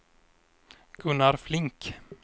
Gunnar Flink